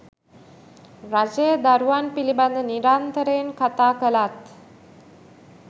රජය දරුවන් පිළිබඳ නිරන්තරයෙන් කතා කළත්